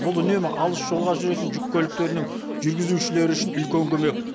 бұл үнемі алыс жолға жүретін жүк көліктерінің жүргізушілері үшін үлкен көмек